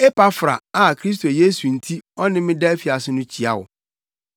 Epafra a Kristo Yesu nti ɔne me da afiase no kyia wo.